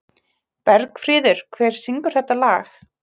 Bergfríður, hver syngur þetta lag?